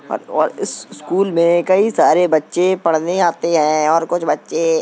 और और इस स्कूल कई सारे बच्चे पढ़ने आते हैं और कुछ बच्चे --